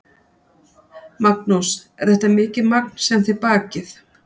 Magnús: Er þetta mikið magn sem þið bakið?